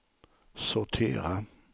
sortera